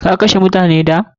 Ka kashe mutane da?